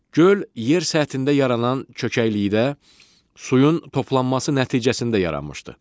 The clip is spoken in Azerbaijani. Göl yer səthində yaranan çökəklikdə suyun toplanması nəticəsində yaranmışdır.